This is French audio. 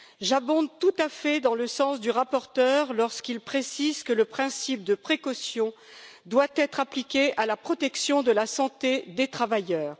J'abonde tout à fait dans le sens du rapporteur lorsqu'il précise que le principe de précaution doit être appliqué à la protection de la santé des travailleurs.